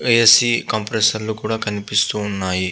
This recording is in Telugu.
ఏసి కంప్రెసర్ లు కూడా కనిపిస్తూ ఉన్నాయి.